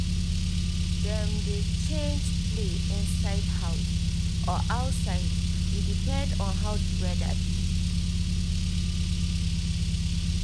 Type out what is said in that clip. dem dey change play inside house or outside e depend on how di weather be